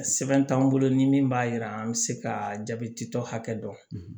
Sɛbɛn t'an bolo ni min b'a yira an bɛ se ka jaabɛti tɔ hakɛ dɔn